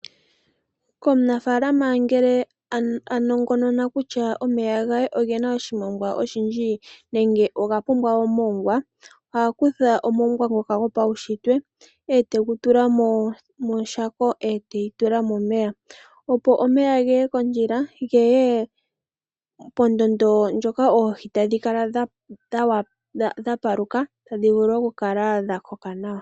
Komunafaalama ngele a nongonona kutya omeya ge ogena oshimongwa oshindji nenge oga pumbwa omongwa oha kutha omongwa ngoka gwo paushitwe ete gu tula moshako ete yitula momeya opo omeya geye kondjila, geye pondondo ndjoka oohi tadhi kala dha paluka tadhi vulu okukala dha koka nawa.